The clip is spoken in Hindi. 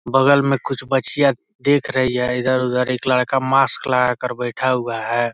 बगल में कुछ बच्चियां देख रही है इधर उधर एक लड़का मास्क लगा कर बैठा हुआ है।